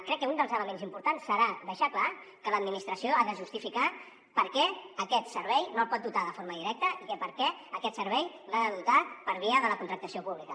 crec que un dels elements importants serà deixar clar que l’administració ha de justificar per què aquest servei no el pot dotar de forma directa i per què aquest servei l’ha de dotar per via de la contractació pública